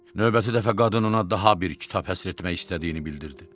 Növbəti dəfə qadın ona daha bir kitab həsr etmək istədiyini bildirdi.